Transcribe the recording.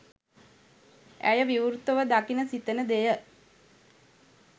ඇය විවෘතව දකින සිතෙන දෙය